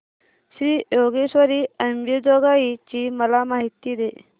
श्री योगेश्वरी अंबेजोगाई ची मला माहिती दे